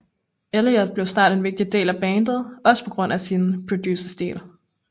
Elliott blev snart en vigtig del af bandet også på grund af sin producerstil